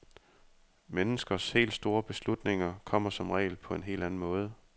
Menneskers helt store beslutninger kommer som regel på en helt anden måde.